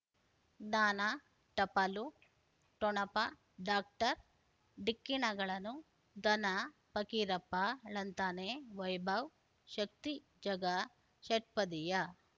ಜ್ಞಾನ ಟಪಾಲು ಠೊಣಪ ಡಾಕ್ಟರ್ ಢಿಕ್ಕಿ ಣಗಳನು ಧನ ಫಕೀರಪ್ಪ ಳಂತಾನೆ ವೈಭವ್ ಶಕ್ತಿ ಝಗಾ ಷಟ್ಪದಿಯ